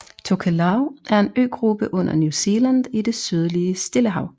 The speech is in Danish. Tokelau er en øgruppe under New Zealand i det sydlige Stillehav